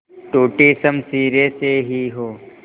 टूटी शमशीरें से ही हो